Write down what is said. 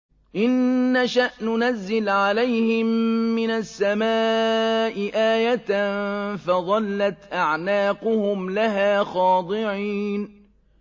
إِن نَّشَأْ نُنَزِّلْ عَلَيْهِم مِّنَ السَّمَاءِ آيَةً فَظَلَّتْ أَعْنَاقُهُمْ لَهَا خَاضِعِينَ